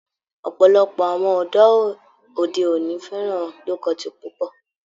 Ọ̀pọ̀lọpọ̀ àwọn ọ̀dọ́ òde òní fẹ́ràn low-cut púpọ̀